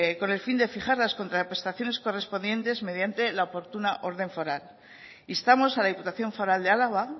con el fin de fijar las contraprestaciones correspondientes mediante la oportuna orden foral instamos a la diputación foral de álava